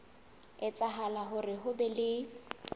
etsahala hore ho be le